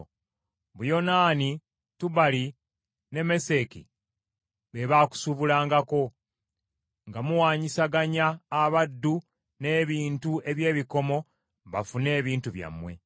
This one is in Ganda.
“ ‘Buyonaani, Tubali, ne Meseki be baakusuubulangako, nga muwanyisaganya abaddu n’ebintu eby’ebikomo bafune ebintu byammwe.